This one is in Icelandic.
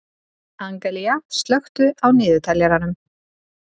Angelía, slökktu á niðurteljaranum.